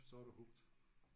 Så er du hooked